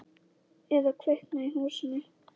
Eða kviknað í húsinu.